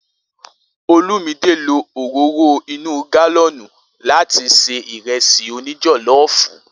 Olumide lo òróró inú gálọ́nùn láti ṣe Ìrẹ́sì òní jọ̀lọ́ọ̀fù.